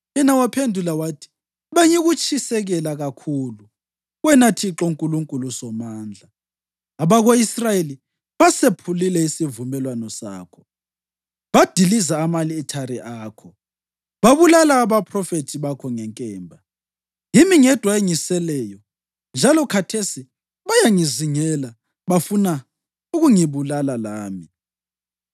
Yena waphendula wathi, “Bengikutshisekela kakhulu wena Thixo Nkulunkulu Somandla. Abako-Israyeli basephule isivumelwano sakho, badiliza ama-alithare akho, babulala abaphrofethi bakho ngenkemba. Yimi ngedwa engiseleyo, njalo khathesi bayangizingela bafuna ukungibulala lami.”